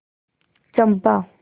चंपा